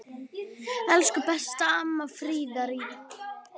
Elsku besta amma Fríða.